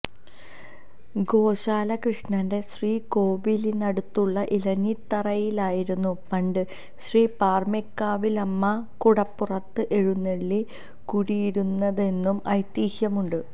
ഗോശാലകൃഷ്ണന്റെ ശ്രീകോവിലനടുത്തുള്ള ഇലഞ്ഞിത്തറയിലായിരുന്നു പണ്ട് ശ്രീ പാറമേക്കാവിലമ്മ കുടപ്പുറത്ത് എഴുന്നെള്ളി കുടിയിരുന്നതെന്നും ഐത്യഹ്യമുണ്ട്